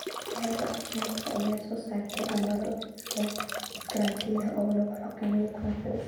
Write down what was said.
Wasaaradda Caafimaadka ayaa soo saartay amarro is-karantiil ah oo lagu xakameynayo coronavirus.